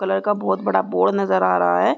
Colour का बहोत बड़ा बोर्ड नज़र आ रहा है।